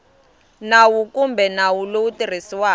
nawu kumbe nawu lowu tirhisiwaka